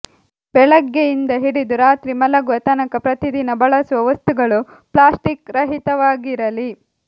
ಬೆಳಗ್ಗೆಯಿಂದ ಹಿಡಿದು ರಾತ್ರಿ ಮಲಗುವ ತನಕ ಪ್ರತಿದಿನ ಬಳಸುವ ವಸ್ತುಗಳು ಪ್ಲಾಸ್ಟಿಕ್ ರಹಿತವಾಗಿರಲಿ